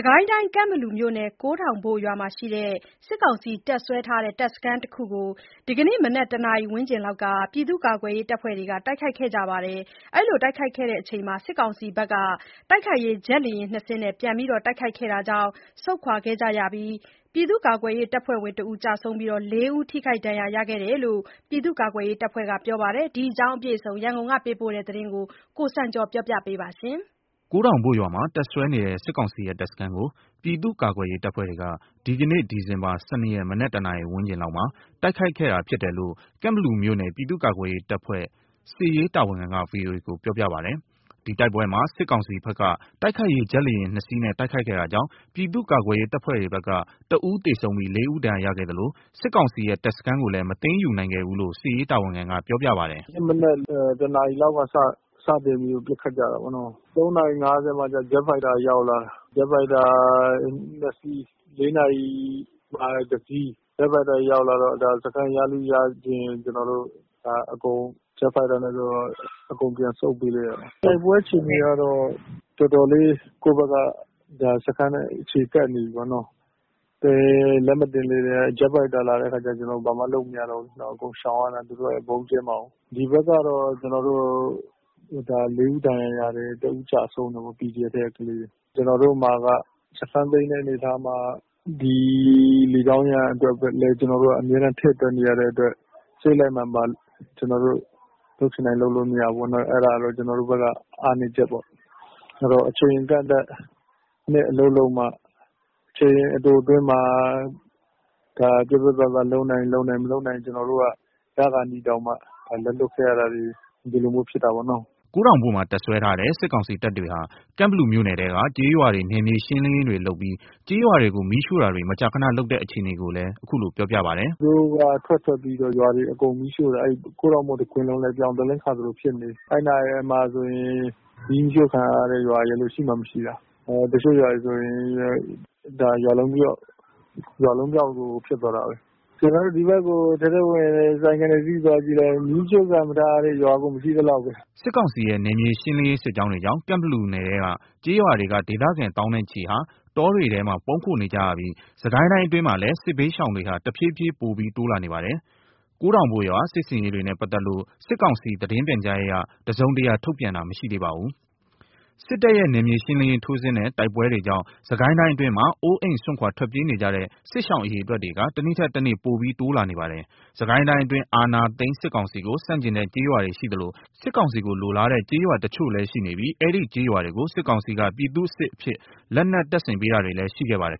စ်ကိုင်းတိုင်း ကန့်ဘလူမြို့နယ် ကိုးတောင်ဘို့မှာရှိတဲ့ စစ်ကောင်စီတပ်စွဲထားတဲ့တပ်စခန်းတခုကို ဒီကနေ့ မနက် ၁ နာရီဝန်းကျင်လောက်က ပြည်သူ့ကာကွယ်ရေး တပ်ဖွဲ့တွေက တိုက်ခိုက်ခဲ့ကြရာမှာ စစ်ကောင်စီဘက်က တိုက်ခိုက်ရေးဂျက်လေယာဉ် ၂ စင်းနဲ့ ပြန်လည်တိုက်ခိုက်ခဲ့တာကြောင့် ဆုတ်ခွာခဲ့ရပြီး ပြည်သူ့ကာကွယ်ရေး တပ်ဖွဲ့ဝင်တဦးကျဆုံးပြီး ၄ ဦး ထိခိုက်ဒဏ်ရာရခဲ့တယ်လို့ ပြည်သူ့ကာကွယ်ရေးတပ်ဖွဲ့က ပြောပါတယ်။ ဒီအကြောင်းအပြည့်အစုံ ရန်ကုန်ကလာတဲ့သတင်းကို ကိုစံကျော်က တင်ပြပေးထားပါတယ်။ ကိုးတောင်ဘို့ရွာမှာတပ်စွဲနေတဲ့ စစ်ကောင်စီရဲ့တပ်စခန်းကို ပြည်သူ့ကာကွယ်ရေး တပ်ဖွဲ့တွေက ဒီကနေ့ ဒီဇင်ဘာ ၁၂ ရက် မနက် ၁ နာရီဝန်းကျင်လောက်မှာ တိုက်ခိုက်ခဲ့တာဖြစ်တယ်လို့ ကန့် ဘလူမြို့နယ် ပြည်သူ့ကာကွယ်ရေးတပ်ဖွဲ့ စစ်ရေးတာဝန်ခံက VOA ကို ပြောပြပါတယ်။ ဒီတိုက်ပွဲမှာ စစ်ကောင်စီဘက်က တိုက်ခိုက်ရေးဂျက်လေယာဉ် ၂ စီးနဲ့တိုက်ခိုက်ခဲ့တာကြောင့် ပြည်သူ့ကာကွယ်ရေး တပ်ဖွဲ့တွေဘက်က တဦးသေဆုံးပြီး ၄ ဦးဒဏ်ရာရခဲ့သလို စစ်ကောင်စီရဲ့ တပ်စခန်းကိုလည်း မသိမ်းယူနိုင်ခဲ့ဘူးလို့ စစ်ရေးတာဝန်ခံက ပြောပါတယ်။ “ဒီနေ့မနက် ၁ နာရီလောက်က စပြီးတော့ ပစ်ခတ်ကြတာပေါ့နော်။ ၃ နာရီ ၅၀ မှာကျ ဂျက်ဖိုက်တာ ရောက်လာတာ။ ဂျက်ဖိုက်တာက ၂ စီး၊ ၄ နာရီမှာ တစီး (ရောက်လာတယ်)။ ဂျက်ဖိုက်တာရောက်လာတော့ စခန်း ရလုရချင်မှာ အကုန်ပြန်ဆုတ်ပေးလိုက်ရတယ်။ တိုက်ပွဲအခြေအနေကတော့ ကိုယ့်ဘက်ကတော်တော်လေး စခန်းနား အခြေတက်နေပြီးပေါ့နော။ လက်မတင်လေးမှာ ဂျက်ဖိုက်တာရောက်လာတော့ ကျနော်တို့ ဘာမှလုပ်မရတော့ဘူးဆိုတော့ အကုန်ရှောင်ရတော့တာပေါ့၊ သူတို့က ဗုံးကြဲမှာကိုး။ ဒီဘက်ကတော့ ၄ ဦး ဒဏ်ရာ ရတယ်။ တဦးကျဆုံးတယ်ပေါ့။ PDF ဘက်က ကလေးတွေ။ ကျနော်တို့မှာက စခန်းသိမ်းတဲ့အနေအထားမှာ ဒီ လေကြောင်းရန်အတွက်ကိုလည်း ကျနော်တို့က အမြဲတမ်း ထည့်တွက်နေရတဲ့အတွက် စိတ်လိုက်မာန်ပါ လုပ်ချင်တိုင်းလုပ်လို့မရဘူးပေါ့၊ အဲ့ဒါကတော့ ကျနော်တို့ဘက်က အားနည်းချက်ပေါ့။ အဲ့တော့ အချိန်အကန့်အသတ်နဲ့ အလုပ်လုပ်မှ၊ အချိန်တိုအတွင်းမှာ ပြတ်ပြတ်သားသား လုပ်နိုင်ရင်လုပ်နိုင်၊ မလုပ်နိုင်ရင်ရခါနီးကျမှ လက်လွတ်ခဲ့ရတာတွေ ခုလိုမျိုး ဖြစ်တာပေါ့နော။” ကိုးတောင်ဘို့မှာ တပ်စွဲထားတဲ့ စစ်ကောင်စီတပ်တွေဟာ ကန့်ဘလူမြို့နယ်ထဲက ကျေးရွာတွေ နယ်မြေရှင်းလင်းပြီး ကျေးရွာတွေကို မကြာခဏ မီးရှို့တဲ့အခြေအနေကိုလည်း ခုလို ပြောပြပါတယ်။ “သူတို့က ထွက်ထွက်ပြီးတော့ ရွာတွေကို အကုန်မီးရှို့တာ။ ကိုးထောင်ဘို့တခွင်လုံးလည်း ပြောင်သလင်းခါသလို ဖြစ်နေပြီ။ ဒီဘက်မှာဆိုရင် မီးမရှို့ခံရတဲ့ရွာရယ်လို့ ရှိမှမရှိတော့တာ။ တချို့ ရွာတွေဆိုရင် ရွာလုံးကျွတ်၊ ရွာလုံးပျောက်ကို ဖြစ်သွားတာပဲ။ ကျနော်တို့ ဒီဘက်ကို ထဲထဲဝင်ဝင် ဆိုင်ကယ်တစီးစီးပြီး သွားကြည့်လိုက်၊ မီးရှို့ခံမထားရတဲ့ ရွာကို မရှိသလောက်ပဲ။” စစ်ကောင်စီရဲ့ နယ်မြေရှင်းလင်းရေး စစ်ကြောင်းတွေကြောင့် ကန့်ဘလူနယ်ထဲက ကျေးရွာတွေက ဒေသခံ သောင်းနဲ့ချီဟာ တောတွေထဲမှာ ပုန်းခိုနေကြရပြီး စစ်ကိုင်းတိုင်းအတွင်းမှာလည်း စစ်ဘေးရှောင်တွေဟာ တဖြည်းဖြည်း ပိုပြီး တိုးလာနေပါတယ်။ ကိုးထောင်ဘို့ရွာ စစ်ဆင်ရေးတွေနဲ့ ပတ်သက်လို့ စစ်ကောင်စီ သတင်းပြန်ကြားရေးက တစုံတရာထုတ်ပြန်ထားတာ မရှိသေးပါဘူး။ စစ်တပ်ရဲ့နယ်မြေရှင်းလင်းရေးထိုးစစ်နဲ့ တိုက်ပွဲတွေကြောင့် စစ်ကိုင်းအတွင်းမှာ အိုးအိမ်စွန့်ခွာ ထွက်ပြေးနေကြရတဲ့ စစ်ရှောင် အရေအတွက်တွေက တနေ့ထက်တနေ့ ပိုပြီးတိုးလာနေပါတယ်။ စစ်ကိုင်းတိုင်းအတွင်း အာဏာသိမ်းစစ်ကောင်စီကို ဆန့်ကျင်တဲ့ကျေးရွာတွေရှိသလို စစ်ကောင်စီကိုလိုလားတဲ့ ကျေးရွာတချို့လည်းရှိနေပြီး အဲဒီကျေးရွာတွေကို စစ်ကောင်စီက ပြည်သူ့စစ်အဖြစ် လက်နက်တပ်ဆင်ပေးတာတွေလည်းရှိခဲ့ပါတယ်